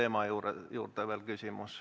Aitäh!